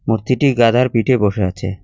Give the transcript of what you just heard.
মূর্তিটি গাধার পিঠে বসা আছে।